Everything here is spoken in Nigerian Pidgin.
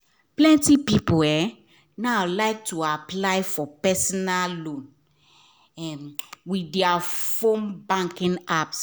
plenty people um now like to apply for personal loan um with their fone banking apps